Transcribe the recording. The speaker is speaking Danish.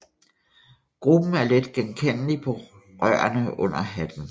Gruppen er let genkendelig på rørene under hatten